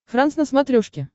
франс на смотрешке